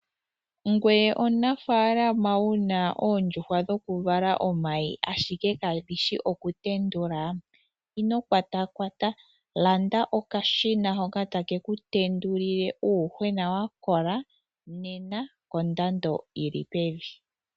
Ngoye omunafaalama wu na oondjuhwa dhoku vala omayi ashike kadhi shi oku tendula, ino kwatakwata, landa okashina hoka take ku tendulile uuyuhwena wa kola nena kondando yili pevi.